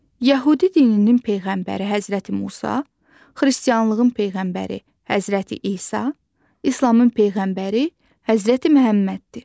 Yəhudi dininin peyğəmbəri Həzrəti Musa, xristianlığın peyğəmbəri Həzrəti İsa, İslamın peyğəmbəri Həzrəti Məhəmməddir.